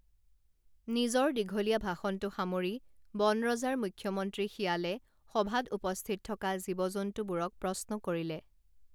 নিজৰ দীঘলীয়া ভাষণটো সামৰি বনৰজাৰ মুখ্যমন্ত্ৰী শিয়ালে সভাত উপস্থিত থকা জীৱ জন্তুবোৰক প্ৰশ্ন কৰিলে